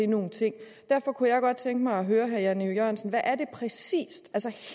nogle ting derfor kunne jeg godt tænke mig at høre herre jan e jørgensen hvad er det præcis